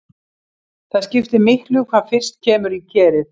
Það skiptir miklu hvað fyrst kemur í kerið.